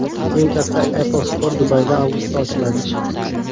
Eng katta Apple Store Dubayda avgustda ochiladi.